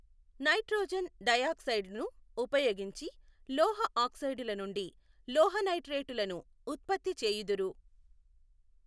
Nitrogen డయాక్సైడును ఉపయోగించి లోహఆక్సైడులనుండి లోహనైట్రేటులను ఉత్పత్తి చెయ్యుదురు.